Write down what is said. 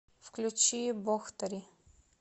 включи бохтари